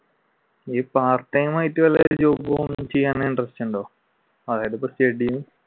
ഈ part time ആയിട്ട് വല്ല job ചെയ്യാൻ interest ഉണ്ടോ?